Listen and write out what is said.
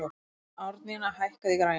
Árnína, hækkaðu í græjunum.